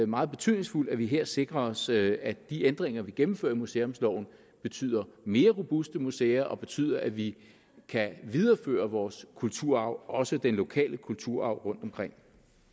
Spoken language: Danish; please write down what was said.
meget betydningsfuldt at vi her sikrer os at de ændringer vi gennemfører i museumsloven betyder mere robuste museer og betyder at vi kan videreføre vores kulturarv også den lokale kulturarv rundtomkring